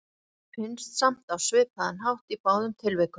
Svarið finnst samt á svipaðan hátt í báðum tilvikum.